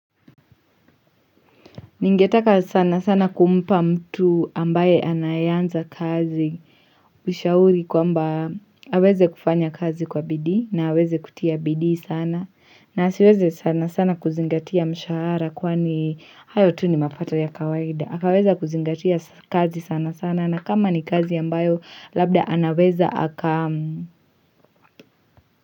Ningetaka sana sana kumpa mtu ambaye anayanza kazi. Mishauri kwamba haweze kufanya kazi kwa bidhi na haweze kutia bidhi sana. Na asiweze sana sana kuzingatia mshahara kuwani hayo tu ni mapato ya kawaida. Hakaweza kuzingatia kazi sana sana na kama ni kazi ambayo labda anaweza haka.